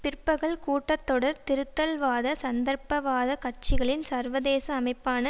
பிற்பகல் கூட்டத்தொடர் திருத்தல்வாத சந்தர்ப்பவாதக் கட்சிகளின் சர்வதேச அமைப்பான